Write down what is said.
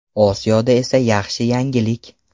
Osiyoda esa yaxshi yangilik.